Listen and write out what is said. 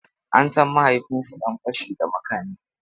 An san mahaifinsu dan fashi da makami.